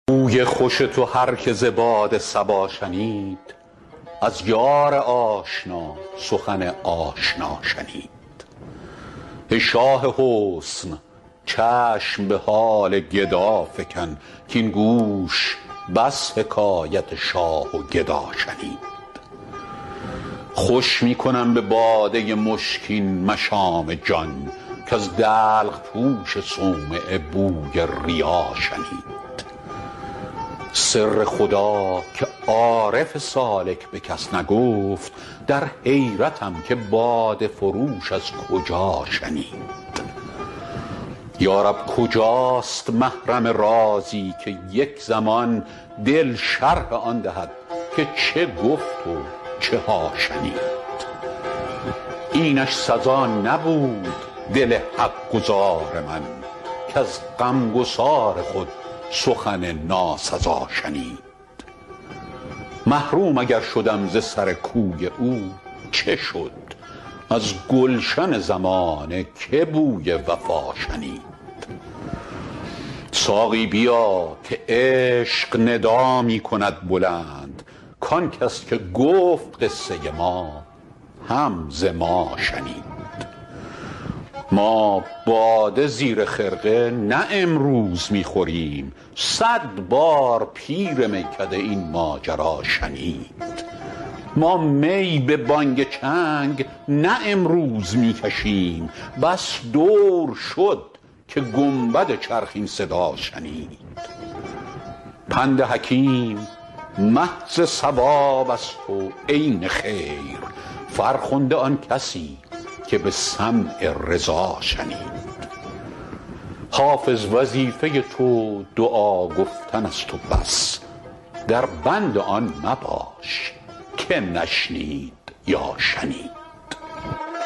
بوی خوش تو هر که ز باد صبا شنید از یار آشنا سخن آشنا شنید ای شاه حسن چشم به حال گدا فکن کـاین گوش بس حکایت شاه و گدا شنید خوش می کنم به باده مشکین مشام جان کز دلق پوش صومعه بوی ریا شنید سر خدا که عارف سالک به کس نگفت در حیرتم که باده فروش از کجا شنید یا رب کجاست محرم رازی که یک زمان دل شرح آن دهد که چه گفت و چه ها شنید اینش سزا نبود دل حق گزار من کز غمگسار خود سخن ناسزا شنید محروم اگر شدم ز سر کوی او چه شد از گلشن زمانه که بوی وفا شنید ساقی بیا که عشق ندا می کند بلند کان کس که گفت قصه ما هم ز ما شنید ما باده زیر خرقه نه امروز می خوریم صد بار پیر میکده این ماجرا شنید ما می به بانگ چنگ نه امروز می کشیم بس دور شد که گنبد چرخ این صدا شنید پند حکیم محض صواب است و عین خیر فرخنده آن کسی که به سمع رضا شنید حافظ وظیفه تو دعا گفتن است و بس در بند آن مباش که نشنید یا شنید